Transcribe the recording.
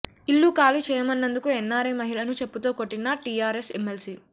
ఇల్లు ఖాళీ చేయమన్నందుకు ఎన్నారై మహిళను చెప్పుతో కొట్టిన టీఆర్ఎస్ ఎమ్మెల్సీ